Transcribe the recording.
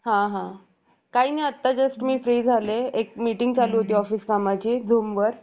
बिस्मिल यांच्या नेर्तृत्वाखाली त्यांनी अनेक दरोड्यांमध्ये चांगली भूमिका बजावली एकोणीशे पंचवीस मध्ये ठाकूर घटनांचा लिलाव लखनौच्या पश्चिमेला एक छोट्या junction वर